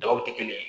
Daw tɛ kelen ye